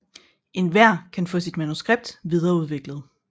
Enhver kan få sit manuskript videreudviklet